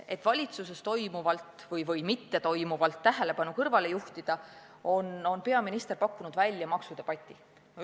Et valitsuses toimuvalt või mittetoimuvalt tähelepanu kõrvale juhtida, on peaminister pakkunud välja maksudebati.